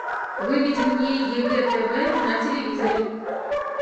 выведи мне егэ тв на телевизоре